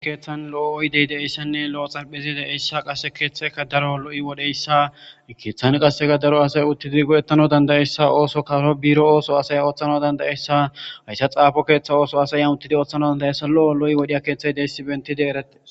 Ha keeththan lo'o oydey deessanne lo'o xalphezide eyssa qase keeththeka daro lo'i wodheyssa keeththan qasseka daro asay uttidi go'ettano dandayessa ooso karo biro ooso asaya ooththana dandayeyssa hayssa xaafo keeththa ooso asayan uttidi ooththano dandayayssa lo'o lo'i wodhiya keeththey deyssi bentide erette